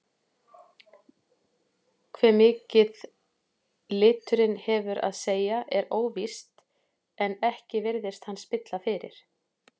Hve mikið liturinn hefur að segja er óvíst en ekki virðist hann spilla fyrir.